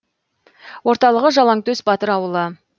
орталығы жалаңтөс батыр ауылы